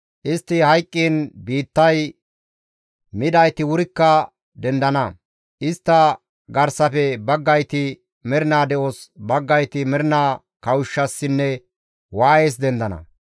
Istti hayqqiin biittay midayti wurikka dendana; istta garsafe baggayti mernaa de7os, baggayti mernaa kawushshassinne waayes dendana.